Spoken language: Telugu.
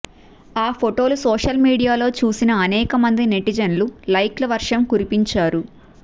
ఆ ఫోటోలు సోషల్ మీడియాలో చూసిన అనేక మంది నెటిజన్లు లైక్ ల వర్షం కురిపించారు